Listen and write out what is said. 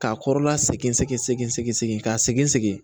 K'a kɔrɔla segin sɛgi segin segin ka segin